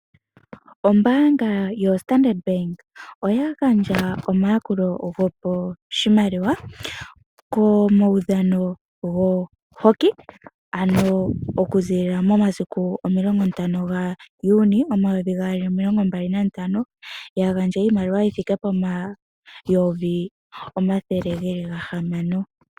Ombaanga yoStandard bank oya gandja omayakulo go poshimaliwa komaudhano goHockey anho okuzila momasiku omulongo nantano gaJuni momayovi gaali omilongo mbali nantano, ya gandja iimaliwa yi thike pomayovi omathele ge li ga hamano.